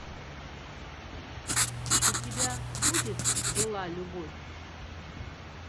у тебя будет была любовь